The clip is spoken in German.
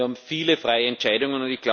Wir haben viele freie Entscheidungen.